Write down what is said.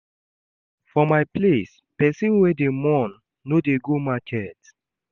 For my place, pesin wey dey mourn no dey go market.